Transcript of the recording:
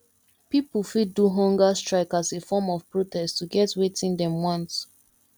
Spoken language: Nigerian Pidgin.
pipo fit do humger strike as a form of protest to get wetin dem want